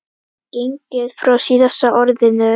gengið frá SÍÐASTA ORÐINU.